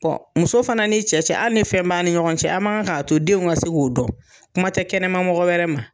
Bɔn muso fana ni cɛ ali ni fɛn b,a ni ɲɔgɔn cɛ, an man kan k'a to denw ka se k'u dɔn kuma tɛ kɛnɛma mɔgɔ wɛrɛ ma.